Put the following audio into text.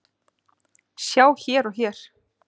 Sjá hér og hér.